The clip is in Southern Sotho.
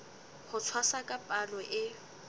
ho tshwasa ka palo e